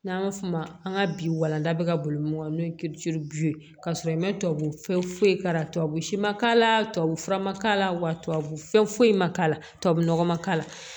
N'an b'a f'o ma an ka bi walanda bɛ ka boli mun kɔnɔ n'o ye ye ka sɔrɔ i ma tubabunɔgɔ fɛn foyi k'a la tubabu si ma k'a la tubabu fura ma k'a la wa tubabu fɛn foyi ma k'a la tubabu nɔgɔ ma k'a la